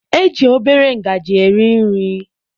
E ji obere ngajị eri nri.